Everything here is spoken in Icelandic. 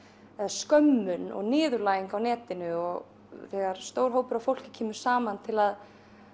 skömmun og niðurlæging á netinu og þegar stór hópur af fólki kemur saman til að